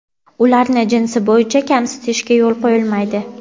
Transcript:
ularni jinsi bo‘yicha kamsitishga yo‘l qo‘yilmaydi.